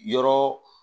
Yɔrɔ